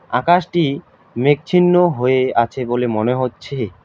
আকাশটি মেঘছিন্ন হয়ে আছে বলে মনে হচ্ছে।